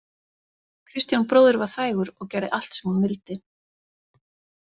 Kristján bróðir var þægur og gerði allt sem hún vildi.